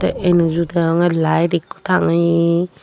enuju deonge lite ekko tangeye.